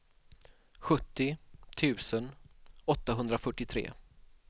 sjuttio tusen åttahundrafyrtiotre